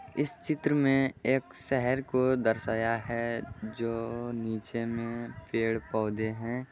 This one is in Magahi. इस चित्र में एक शहर को दर्शाया है जो नीचे मे पेड़-पौधे है।